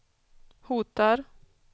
hotar